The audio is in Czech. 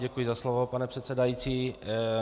Děkuji za slovo, pane předsedající.